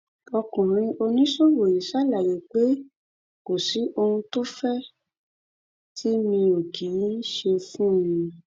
ọkùnrin oníṣòwò yìí ṣàlàyé pé kò sí ohun tó fẹ tì mí ò kì í ṣe fún un